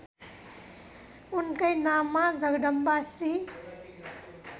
उनकै नाममा जगदम्बाश्री